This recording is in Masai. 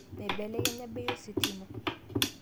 Meibelekenya bei ositima